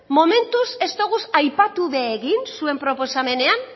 momentuz ez ditugu aipatu ere egin zuen proposamenean